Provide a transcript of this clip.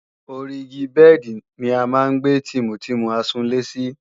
Ori igi bẹ́ẹ̀dì ni a máa ń gbé tìmùtìmù àsùnlé sí